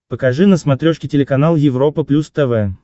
покажи на смотрешке телеканал европа плюс тв